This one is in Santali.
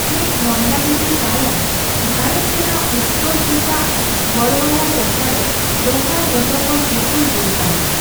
ᱠᱟᱢᱮᱴ ᱱᱚᱸᱫᱟ ᱫᱮᱣᱤ ᱛᱟᱭᱚᱢ ᱵᱷᱟᱨᱚᱛ ᱨᱮᱱᱟᱜ ᱩᱛᱛᱚᱨᱠᱮᱪᱟᱜ ᱜᱚᱬᱣᱟᱞᱟ ᱴᱚᱴᱷᱟ ᱨᱮ ᱫᱚᱥᱟᱨ ᱡᱚᱛᱚᱠᱷᱚᱱ ᱩᱥᱩᱞ ᱵᱩᱨᱩ ᱠᱟᱱᱟ ᱾